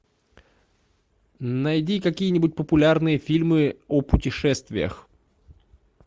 найди какие нибудь популярные фильмы о путешествиях